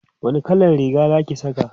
wani kallan Riga Zaki Saka?